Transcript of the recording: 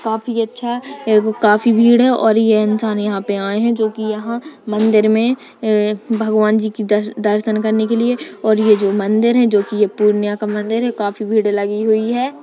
काफी अच्छा एगो काफी भीड़ है और ये इंसान यहाँ पे आये है| जो कि यहाँ मंदिर मे भगवान जी की दर्शन करने के लिए मंदिर मे | और ये जो मंदिर है जो की ये पूर्णियां की मंदिर है काफ़ी भीड़ लगी हुई है।